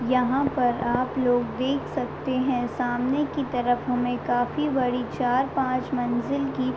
यहाँ पर आप लोग देख सकते हैं सामने की तरफ हमे काफी बड़ी चार-पाच मंजिल की --